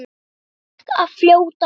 Ég fékk að fljóta með.